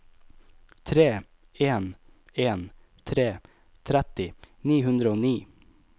tre en en tre tretti ni hundre og ni